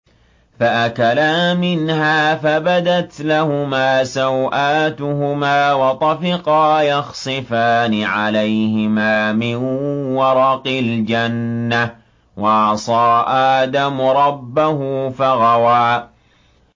فَأَكَلَا مِنْهَا فَبَدَتْ لَهُمَا سَوْآتُهُمَا وَطَفِقَا يَخْصِفَانِ عَلَيْهِمَا مِن وَرَقِ الْجَنَّةِ ۚ وَعَصَىٰ آدَمُ رَبَّهُ فَغَوَىٰ